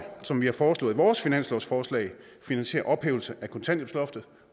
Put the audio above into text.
som vi har foreslået i vores finanslovsforslag finansiere ophævelse af kontanthjælpsloftet